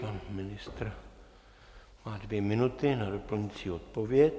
Pan ministr má dvě minuty na doplňující odpověď.